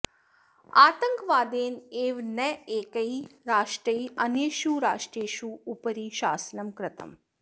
आतङ्कवादेन एव नैकैः राष्ट्रैः अन्येषु राष्ट्रेषु उपरि शासनं कृतम्